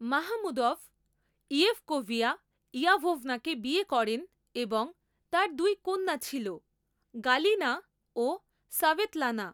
Mahmudov, Yevkoviya Yavovna কে বিয়ে করেন এবং তার দুই কন্যা ছিল, গালিনা ও সাভেতলানা।